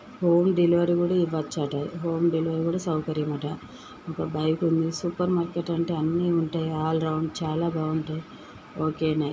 Home delivery కూడా ఇవ్వచట home delivery కూడా సౌకర్యమట ఒక బైకలు ఉంది సూపర్ మార్కెట్ అంటే అన్నీ ఉంటాయి ఆల్ రౌండ్ చాలా బాగుంటాయి ఒకే .